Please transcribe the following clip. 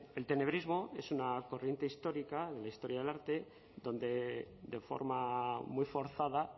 el tenebrismo es una corriente histórica de la historia del arte donde de forma muy forzada